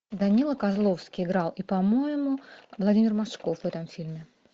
данила козловский играл и по моему владимир машков в этом фильме